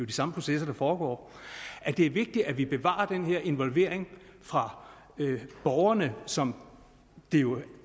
de samme processer der foregår er det vigtigt at vi bevarer den her involvering fra borgerne som der jo